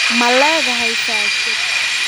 Ma leedahay faashad?